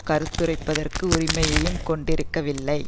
கருத்துரைப்பதற்கு உரிமையையும் கொண்டிருக்கவில்லை